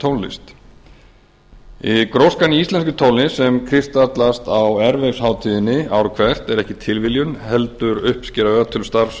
tónlist gróskan í íslenskri tónlist sem kristallast á örlygshátíðinni ár hvert er ekki tilviljun heldur uppskera ötuls starfs